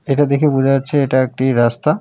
এটা দেখে বোঝা যাচ্ছে এটা একটি রাস্তা।